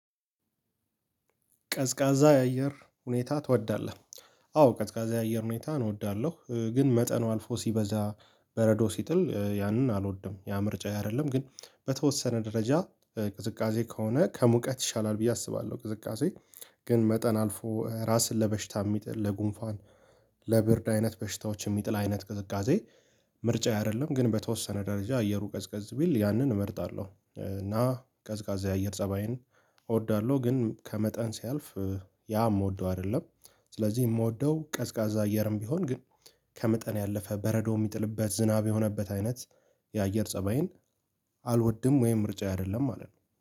ቀዝቃዛ የአየር ሁኔታ ትወዳለህ? አዎ ቀዝቃዛ የአየር ሁኔታ እወዳለሁ ግን መጠኑ አልፎ ሲበዛ በረዶ ሲጥል ያንን አልወድም ያ ምርጫ አይደለም ግን በተወሰነ ደረጃ ቅዝቃዜ ከሆነ ከሙቀት ይሻላል ብዬ አስባለሁ። ቅዝቃዜ ግን መጠን አልፎ ራስን ለበሽታ የሚጥል ለጉንፋን ለብርድ አይነት በሽታዎች የሚጥል አይነት ቅዝቃዜ። ምርጫዬ አይደለም ግን በተወሰነ ደረጃ አየሩ ቀዝቀዝ ቢል ያንን እመርጣለሁ። እና ቀዝቃዛ የአየር ፀባይን እወዳለሁ ግን ከመጠን ሲያልፍ ያ የምወደው አይደለም። ስለዚህ የምወደው ቀዝቃዛ አየርም ቢሆን ግን ከመጠን ያለፈ በረዶ የሚጥልበት ዝናብ የሆነበት አይነት የአየር ፀባይን አልወድም ወይም ምርጫ አይደለም ማለት ነው